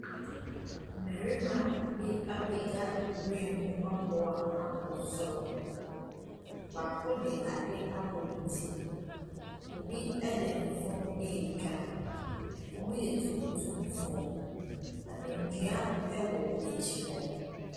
Mmarima bi apagya nwuram aboa akɔ soro. Baako de adeɛ abɔ ne ti. Obi de ne phone retwa. Wɔyɛ tuntumfoɔ, na nnua wɔ akyire hɔ.